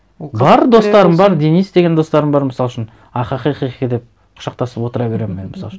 бар достарым бар денис деген достарым бар мысал үшін ахахихи деп құшақтасып отыра беремін мен мысал үшін